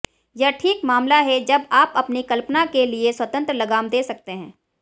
यह ठीक मामला है जब आप अपनी कल्पना के लिए स्वतंत्र लगाम दे सकते है